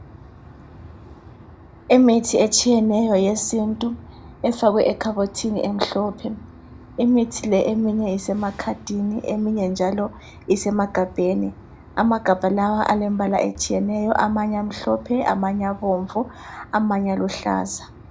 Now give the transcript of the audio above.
Imithi etshiyeneyo yesintu efakwe ekhabothini emhlophe imithi le eminye isemakhadini eminye njalo isemagabheni amagabha lawa alembala etshiyeneyo amanye amhlophe amanye abomvu amanye aluhlaza.